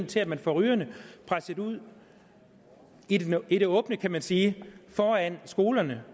til at man får rygerne presset ud i det åbne kan man sige foran skolerne